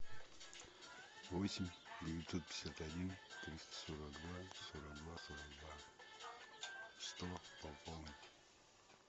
восемь девятьсот пятьдесят один триста сорок два сорок два сорок два сто пополнить